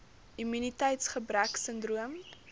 immuniteits gebrek sindroom